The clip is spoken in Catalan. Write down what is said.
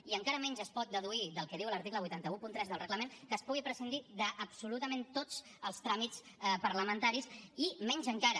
i encara menys es pot deduir del que diu l’article vuit cents i tretze del reglament que es pugui prescindir d’absolutament tots els tràmits parlamentaris i menys encara